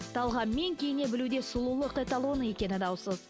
талғаммен киіне білу де сұлулық эталоны екені даусыз